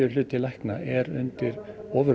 hluti lækna eru undir